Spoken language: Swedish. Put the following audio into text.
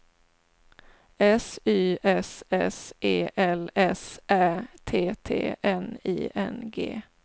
S Y S S E L S Ä T T N I N G